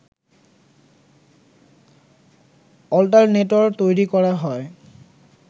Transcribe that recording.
alternator তৈরি করা হয়